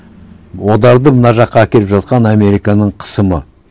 оларды мына жаққа әкеліп жатқан американың қысымы